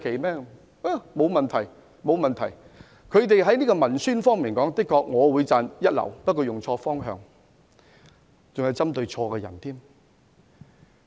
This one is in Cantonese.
我會讚揚他們在文宣方面確是一流，但卻用錯方向，針對的人亦錯了。